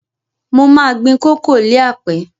Mo ma gbin koko líàpẹ́